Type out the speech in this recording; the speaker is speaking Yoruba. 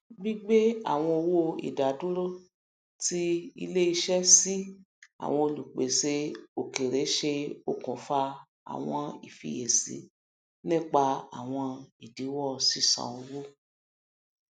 gbigbé àwọn owó idaduro ti iléiṣẹ sí àwọn olùpèsè òkèèrè ṣe òkùnfà àwọn ìfiyesi nípa àwọn idìwọ sísàn owó